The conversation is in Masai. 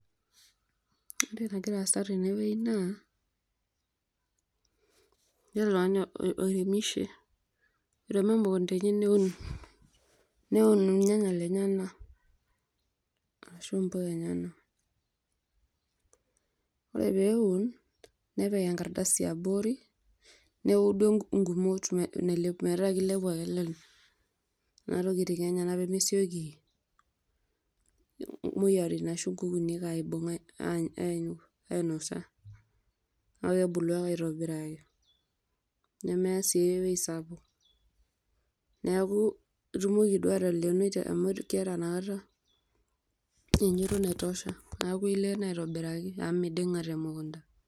Oreentoki nagira aasa tenewueji naa ijo oltungani oiremishe, tenemee mukundani taa eun neun irnyanya lenyenak, ashu mpuka enyenak, ore peun nepik enkardasi abori neudu nkumot metaa kilepu ake lenye, nona tokitin enyenak pemesieki moyiaritin aibung ashu anya ainosa, neaku kebulu ake aitobiraki nemeyaa Sii ewoi sapuk neaku itumoki naa atalenoi amu keeta naa inakata naitosha neaku ilenoo aitobiraki amu midinga temukunda.